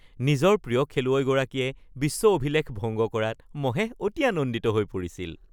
নিজৰ প্ৰিয় খেলুৱৈগৰাকীয়ে বিশ্ব অভিলেখ ভংগ কৰাত মহেশ অতি আনন্দিত হৈ পৰিছিল